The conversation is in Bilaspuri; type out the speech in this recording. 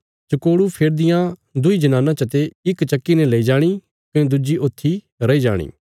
चकोड़ू फेरदियां दुईं जनानां चते इक चक्की ने लेई जाणी कने दुज्जी ऊत्थी रैई जाणी